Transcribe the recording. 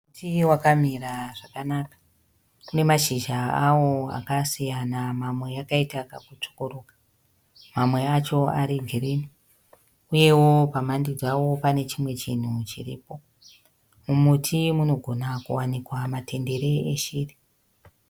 Muti vakamira zvakanaka une mashizha awo akasiyana mamwe akaita kakutsvukuruka amwe acho ari girini uyewo pamhande dzawo pane chimwe chinhu chiripo. Mumuti munogona kuvanikwa matendere eshiri